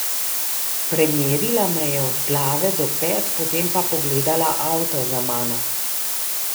Premerila me je od glave do pet, potem pa pogledala avto za mano.